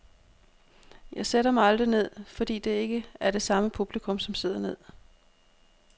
Jeg sætter mig aldrig ned fordi det ikke er det samme publikum, som sidder ned.